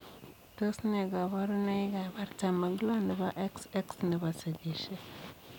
Tos nee kabarunoik ap Artam ak loo nepo XX nepo sigisiet